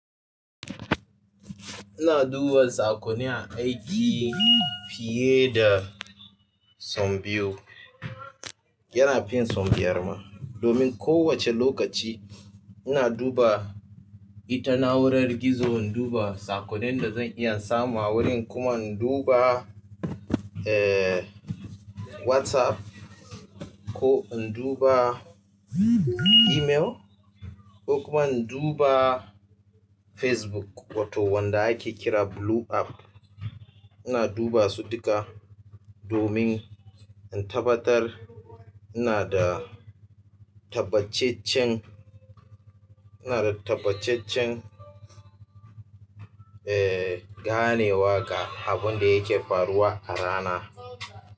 Ina duba saƙonni a aiki fiye da sau biyu. Yana fin sau biyar ma. Domin kowace lokaci ina duba ita na'urar gizo, in duba saƙonnin da zan iya samu a wurin kuma in duba, eh, WhatsApp ko in duba email ko kuma in duba Facebook, wato wanda ake kira Blue App. Ina duba su duka domin in tabbatar ina da tabbacaccen, ina da tabbacaccen, eh, ganewa ga abin da yake faruwa a rana.